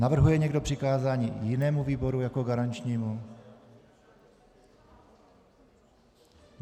Navrhuje někdo přikázání jinému výboru jako garančnímu?